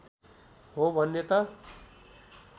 हो भन्ने त